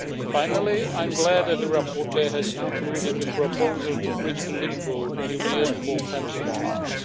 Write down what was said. Finally, I am glad that the rapporteur has included a proposal to bridge the limbo period for pension funds.